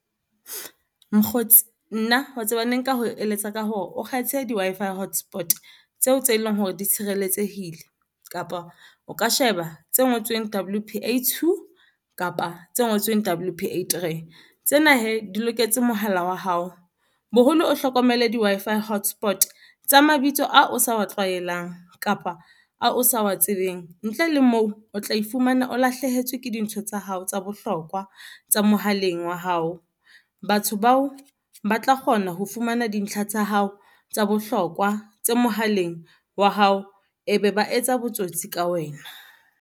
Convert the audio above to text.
Mokgotsi nna wa tseba ne nka ho eletsa ka hore o kgethe di-Wi-Fi hotspot tseo tse leng hore di tshireletsehile, kapa o ka sheba tse ngotsweng W_P_A two kapa tse ngotsweng W_P_A three. Tsena hee di loketse mohala wa hao boholo, o hlokomele di-Wi-Fi hotspot tsa mabitso ao o sa wa tlwaelang kapa a o sa wa tsebeng. Ntle le moo o tla iphumana o lahlehetswe ke dintho tsa hao tsa bohlokwa tsa mohaleng wa hao. Batho bao ba tla kgona ho fumana dintlha tsa hao tsa bohlokwa tse mohaleng wa hao e be ba etsa botsotsi ka wena.